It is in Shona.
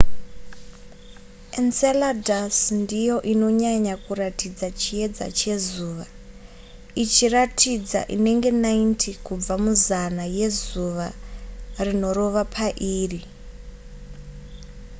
enceladus ndiyo inonyanya kuratidza chiedza chezuva ichiratidza inenge 90 kubva muzana yezuva rinorova pairi